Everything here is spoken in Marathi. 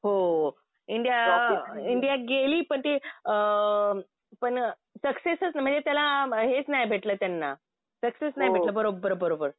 हो. इंडिया गेली पण ती अ पण सक्सेसच अ म्हणजे त्याला हेच नाही भेटलं त्यांना. सक्सेस नाही भेटलं. बरोबर बरोबर.